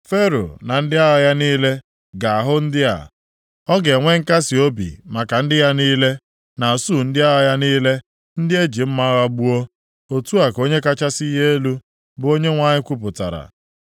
“Fero na ndị agha ya niile ga-ahụ ndị a, ọ ga-enwe nkasiobi maka ndị ya niile, na usuu ndị agha ya niile ndị eji mma agha gbuo. Otu a ka Onye kachasị ihe niile elu, bụ Onyenwe anyị kwupụtara.